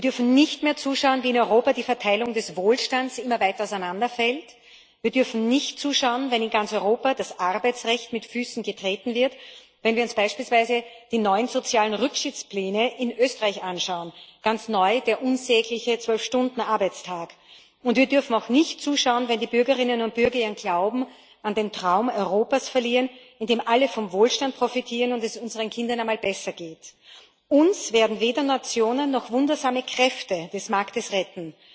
Wir dürfen nicht mehr zuschauen, wie in Europa die Verteilung des Wohlstands immer weiter auseinanderfällt, wir dürfen nicht zuschauen, wenn in ganz Europa das Arbeitsrecht mit Füßen getreten wird, wenn wir uns beispielsweise die neuen sozialen Rückschrittspläne in Österreich anschauen ganz neu der unsägliche 12 Stunden Arbeitstag und wir dürfen auch nicht zuschauen, wenn die Bürgerinnen und Bürger ihren Glauben an den Traum von einem Europa verlieren, in dem alle vom Wohlstand profitieren und es unseren Kindern einmal besser geht. Uns werden weder Nationen noch wundersame Kräfte des Marktes retten.